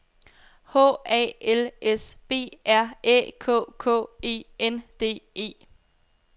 H A L S B R Æ K K E N D E